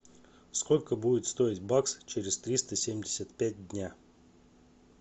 сколько будет стоить бакс через триста семьдесят пять дня